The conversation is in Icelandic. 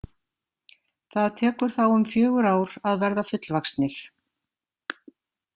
Það tekur þá um fjögur ár að verða fullvaxnir.